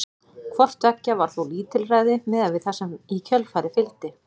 Hvort tveggja var þó lítilræði miðað við það sem í kjölfarið fylgdi.